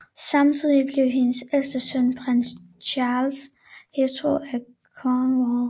Samtidig blev hendes ældste søn prins Charles Hertug af Cornwall